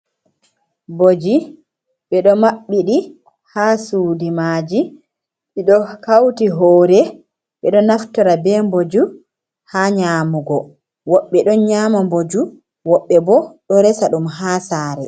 Boji ɓeɗo maɓɓiɗi ha sudu maji ɓeɗo hauti hore ɓeɗo naftora be mboju ha nyamugo, woɓɓe don nyama mboju woɓɓe bo ɗo resa ɗum ha sare.